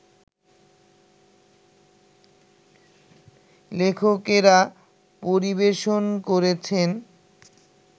লেখকেরা পরিবেশন করেছেন